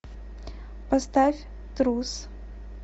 поставь трус